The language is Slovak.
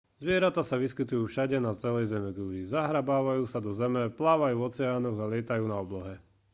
zvieratá sa vyskytujú všade na celej zemeguli zahrabávajú sa do zeme plávajú v oceánoch a lietajú na oblohe